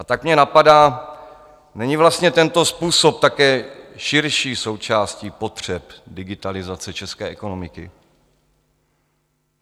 A tak mě napadá, není vlastně tento způsob také širší součástí potřeb digitalizace české ekonomiky?